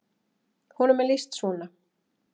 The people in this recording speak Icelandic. Honum er lýst svona: